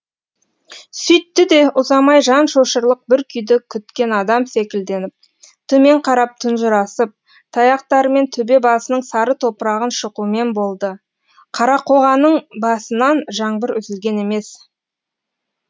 сүйтті де ұзамай жан шошырлық бір күйді күткен адам секілденіп төмен қарап тұнжырасып таяқтарымен төбе басының сары топырағын шұқумен болды қарақоғаның басынан жаңбыр үзілген емес